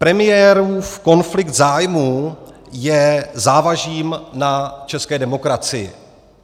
Premiérův konflikt zájmů je závažím na české demokracii.